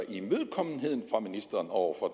imødekommenhed fra ministeren over for